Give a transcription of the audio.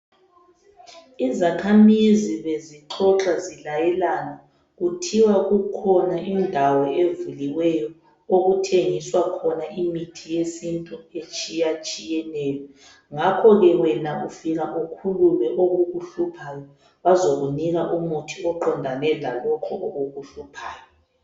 Izakhamizi bezixoxa zilayelana. Kuthiwa kukhona indawo evuliweyo okuthengiswa khona yesintu imithi etshiyetshiyeneyo. Ngakho ke wena ufika ukhulume okukuhluphayo bazokunika umuthi oqondane lalokho okukuhluphayo.